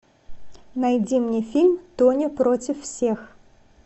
найди мне фильм тоня против всех